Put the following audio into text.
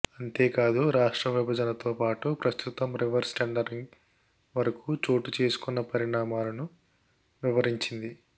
అంతేకాదు రాష్ట్ర విభజనతో పాటు ప్రస్తుతం రివర్స్ టెండరింగ్ వరకు చోటు చేసుకొన్న పరిణామాలను వివరించింది